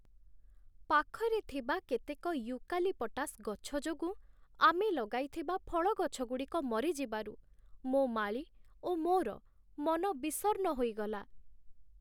ପାଖରେ ଥିବା କେତେକ ୟୁକାଲିପ୍‌ଟାସ୍ ଗଛ ଯୋଗୁଁ, ଆମେ ଲଗାଇଥିବା ଫଳ ଗଛଗୁଡ଼ିକ ମରିଯିବାରୁ, ମୋ ମାଳୀ ଓ ମୋର ମନ ବିଷର୍ଣ୍ଣ ହୋଇଗଲା।